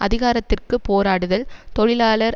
அதிகாரத்திற்கு போராடுதல் தொழிலாளர்